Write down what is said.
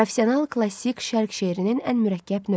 Profesional klassik Şərq şeirinin ən mürəkkəb növü.